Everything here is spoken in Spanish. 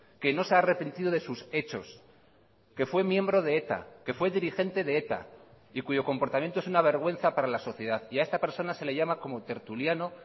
que no se ha arrepentido de sus hechos que fue miembro de eta que fue dirigente de eta y cuyo comportamiento es una vergüenza para la sociedad y a esta persona se le llama como tertuliano